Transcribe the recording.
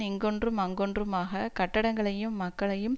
இங்கொன்றும் அங்கொன்றுமாக கட்டடங்களையும் மக்களையும்